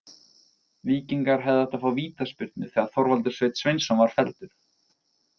Víkingar hefðu átt að fá vítaspyrnu þegar Þorvaldur Sveinn Sveinsson var felldur.